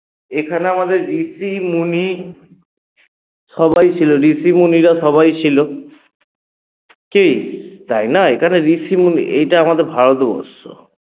এখানে আমাদের ঋষি মণি সবাই ছিল ঋষি মণিরা সবাই ছিল কী তাই না? এখানে ঋষি মণি এটা আমাদের ভারতবর্ষ